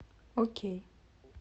окей